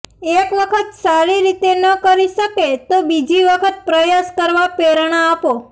એક વખત સારી રીતે ન કરી શકે તો બીજી વખત પ્રયાસ કરવા પ્રેરણા આપો